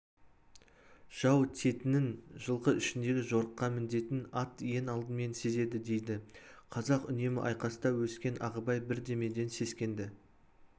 жау тиетінін жылқы ішіндегі жорыққа мінетін ат ең алдымен сезеді дейді қазақ үнемі айқаста өскен ағыбай бірдемеден сескенді